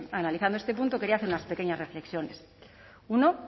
analizando este punto quería hacer unas pequeñas reflexiones uno